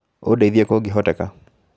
Ũndeithie kũngĩhoteka.